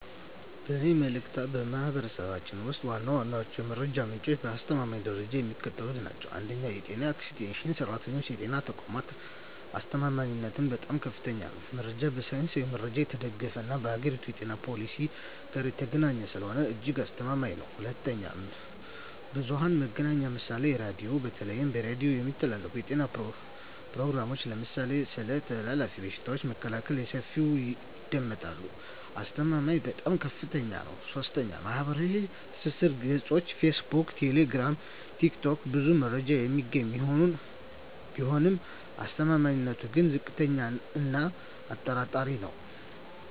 በእኔ ምልከታ፣ በማኅበረሰባችን ውስጥ ዋና ዋናዎቹ የመረጃ ምንጮችና የአስተማማኝነት ደረጃቸው የሚከተሉት ናቸው፦ 1. የጤና ኤክስቴንሽን ሠራተኞችና የጤና ተቋማት አስተማማኝነቱም በጣም ከፍተኛ ነው። መረጃው በሳይንሳዊ ማስረጃ የተደገፈና ከአገሪቱ የጤና ፖሊሲ ጋር የተገናኘ ስለሆነ እጅግ አስተማማኝ ነው። 2. ብዙኃን መገናኛ ምሳሌ ራዲዮ:- በተለይ በሬዲዮ የሚተላለፉ የጤና ፕሮግራሞች (ለምሳሌ ስለ ተላላፊ በሽታዎች መከላከያ) በሰፊው ይደመጣሉ። አስተማማኝነቱም በጣም ከፍታኛ ነው። 3. ማኅበራዊ ትስስር ገጾች (ፌስቡክ፣ ቴሌግራም፣ ቲክቶክ) ብዙ መረጃ የሚገኝ ቢሆንም አስተማማኝነቱ ግን ዝቅተኛ እና አጠራጣሪ ነው።